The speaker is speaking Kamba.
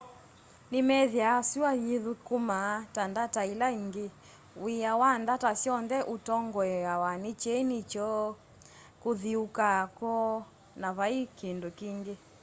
ni meethie sua yithũkũmaa ta ndata ila ingi wia wa ndata syonthe utongoeawa ni kyeni kyoo kuthiuuka kwoo na vai kindu kingi